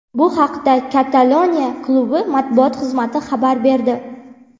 Bu haqda Kataloniya klubi matbuot xizmati xabar berdi .